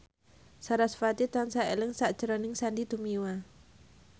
sarasvati tansah eling sakjroning Sandy Tumiwa